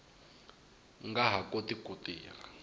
nga ha koti ku tirha